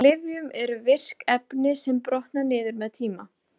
Í lyfjum eru virk efni sem brotna niður með tíma.